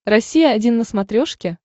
россия один на смотрешке